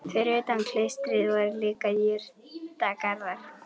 Fyrir utan klaustrið voru líka jurtagarðar.